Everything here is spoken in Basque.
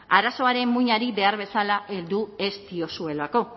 arazoaren muinari behar bezala heldu ez diozuelako